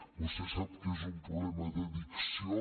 vostè sap que és un problema d’addicció